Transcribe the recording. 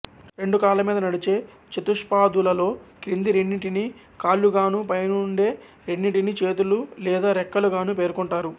రెండు కాళ్లమీద నడిచే చతుష్పాదులలో క్రింది రెండింటిని కాళ్లుగానూ పైనుండే రెండింటిని చేతులు లేదా రెక్కలు గాను పేర్కొంటారు